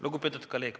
Lugupeetud kolleeg!